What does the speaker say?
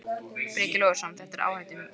Breki Logason: Þetta er áhættuatriði?